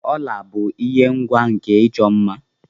ọla bụ ihe ngwa nke ịchọ mma